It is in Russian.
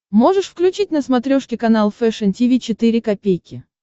можешь включить на смотрешке канал фэшн ти ви четыре ка